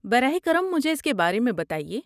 براہ کرم مجھے اس کے بارے میں بتائیے۔